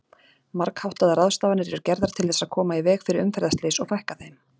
Margháttaðar ráðstafanir eru gerðar til þess að koma í veg fyrir umferðarslys og fækka þeim.